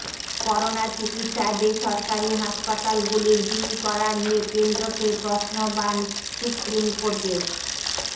corona চিকিৎসায় বেসরকারি হাসপাতালগুলির বিল করা নিয়ে কেন্দ্রকে প্রশ্নবাণ সুপ্রিমকোর্টের